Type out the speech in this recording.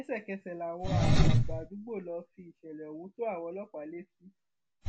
lẹsẹkẹsẹ làwọn àgbààgbà àdúgbò lọọ fìṣẹlẹ ohun tó àwọn ọlọpàá létí